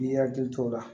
N'i y'i hakili to o la